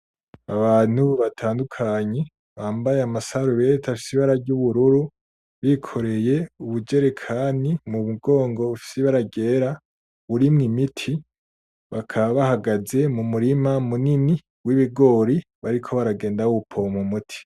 Abantu batandukanye, bambaye ama salubete afise Ibara ry'ubururu bikoreye ubu jerekane mumugongo bufise Ibara ryera burimwo imiti bakaba bahagaze mu murima munini w'ibigori, bariko bagenda bawupoma umiti.